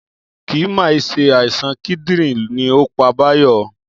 Kì mà í se àìsàn kídìrín ni ó pa Bayo